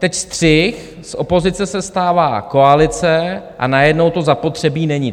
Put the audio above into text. Teď střih, z opozice se stává koalice a najednou to zapotřebí není.